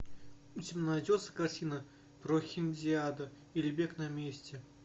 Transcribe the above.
у тебя найдется картина прохиндиада или бег на месте